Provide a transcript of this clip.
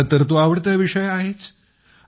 माझा तर तो आवडता विषय आहेच